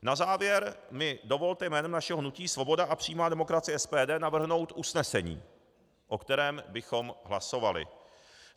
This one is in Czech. Na závěr mi dovolte jménem našeho hnutí Svoboda a přímá demokracie, SPD, navrhnout usnesení, o kterém bychom hlasovali.